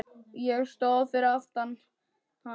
Ég stóð fyrir aftan hana.